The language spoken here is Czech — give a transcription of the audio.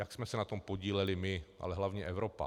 Jak jsme se na tom podíleli my, ale hlavně Evropa?